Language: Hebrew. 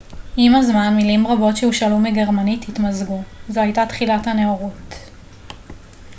עם הזמן מילים רבות שהושאלו מגרמנית התמזגו זו הייתה תחילת הנאורות